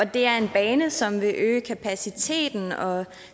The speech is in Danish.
det er en bane som vil øge kapaciteten og